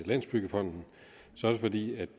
landsbyggefonden så er det fordi